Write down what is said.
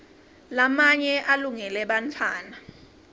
lamanye alungele bantfwana